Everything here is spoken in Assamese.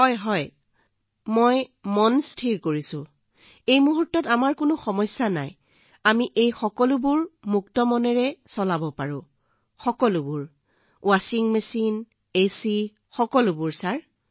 সঁচাকৈয়ে ছাৰ এই মুহূৰ্তত আমাৰ কোনো সমস্যা নাই আমি এই সকলোবোৰ চলাব পাৰোঁ ৱাছিং মেচিন এচি মুক্ত মনেৰে সকলোবোৰ ছাৰ